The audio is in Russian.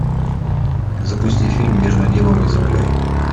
запусти фильм между небом и землей